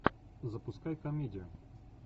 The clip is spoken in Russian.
запускай комедию